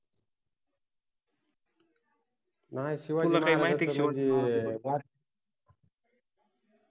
नाय, तुला काइ माहिति आहे काय शिवाजि महाराजांबद्दल